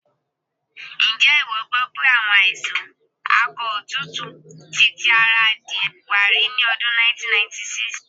Ǹjé ìwọ gbọ́ pé àwọn àìsàn akọ òtútù ti ti ara adìẹ wá rí ní ọdún 1996?